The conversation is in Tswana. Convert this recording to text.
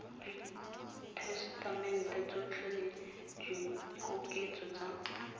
ditasetamente tsotlhe le dikoketso tsa